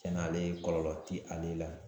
Tiɲɛn na ale kɔlɔlɔ ti ale la.